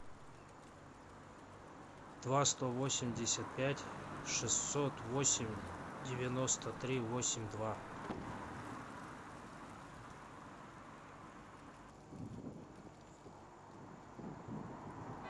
два сто восемьдесят пять шестьсот восемь девяносто три восемь два